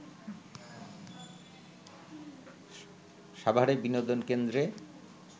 সাভারে বিনোদন কেন্দ্রে